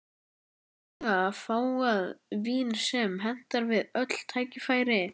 Einstaklega fágað vín sem hentar við öll tækifæri.